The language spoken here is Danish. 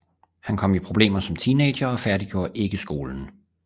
Han kom i problemer som teenager og færdiggjorde ikke skolen